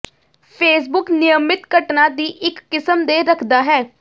Facebook ਨਿਯਮਿਤ ਘਟਨਾ ਦੀ ਇੱਕ ਕਿਸਮ ਦੇ ਰੱਖਦਾ ਹੈ